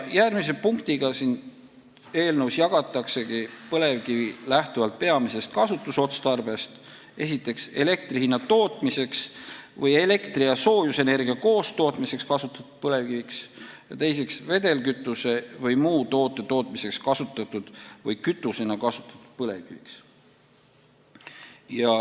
Järgmise punktiga siin eelnõus jagataksegi põlevkivi lähtuvalt peamisest kasutusotstarbest esiteks elektrienergia tootmiseks või elektri- ja soojusenergia koostootmiseks kasutatud põlevkiviks ja teiseks vedelkütuse või muu toote tootmiseks kasutatud või kütusena kasutatud põlevkiviks.